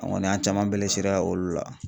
An kɔni an caman bɛlesera olu la.